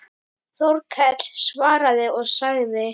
Þórkell svaraði og sagði